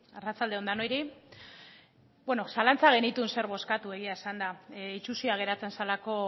arratsalde on denoi zalantzak genituen zer bozkatu egia esanda itsusia geratzen zelako